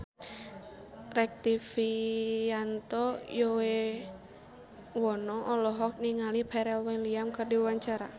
Rektivianto Yoewono olohok ningali Pharrell Williams keur diwawancara